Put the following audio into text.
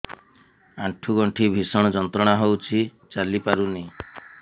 ଆଣ୍ଠୁ ଗଣ୍ଠି ଭିଷଣ ଯନ୍ତ୍ରଣା ହଉଛି ଚାଲି ପାରୁନି